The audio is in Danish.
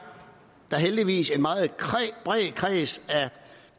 der heldigvis en meget bred kreds af